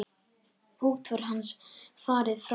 Útför hans hefur farið fram.